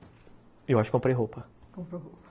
Eu acho que comprei roupa. Comprou roupa.